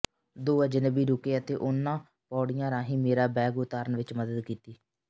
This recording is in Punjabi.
ਦੋ ਅਜਨਬੀ ਰੁਕੇ ਅਤੇ ਉਨ੍ਹਾਂ ਪੌੜੀਆਂ ਰਾਹੀਂ ਮੇਰਾ ਬੈਗ ਉਤਾਰਨ ਵਿੱਚ ਮਦਦ ਕੀਤੀ